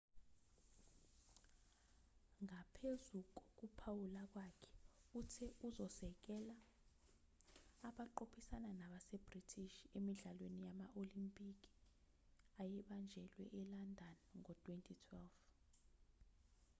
ngaphezu kokuphawula kwakhe uthe uzosekela abaqophisana nabase-british emidlalweni yama-olempikhi ayebanjelwa e-london ngo-2012